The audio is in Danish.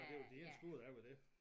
Det det troede jeg var dét